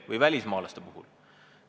Või siis välismaalaste seaduse muudatus.